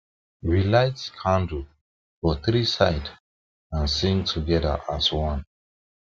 we light we light candle for three side and sing together as one